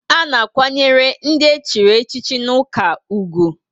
A na akwanyere ndị echiri echi n' ụka ùgwù